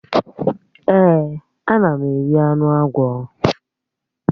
Èè, ana m eri anụ agwọ.